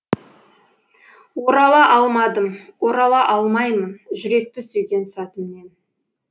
орала алмадым орала алмаймын жүректі сүйген сәтімнен